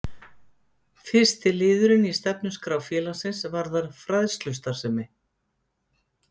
Fyrsti liðurinn í stefnuskrá félagsins varðar fræðslustarfsemi.